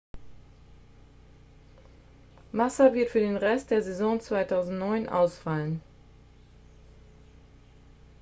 massa wird für den rest der saison 2009 ausfallen